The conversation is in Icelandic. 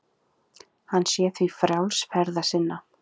Sumir þeirra kallast geislasteinar vegna útlits síns.